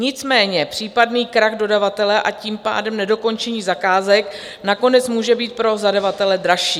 Nicméně případný krach dodavatele, a tím pádem nedokončení zakázek nakonec může být pro zadavatele dražší.